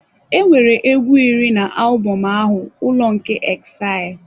Enwere egwu iri na album ahụ, Ụlọ nke Exile.